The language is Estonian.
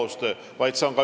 Aitäh, ministrid!